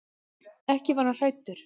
Ekki var hann hræddur.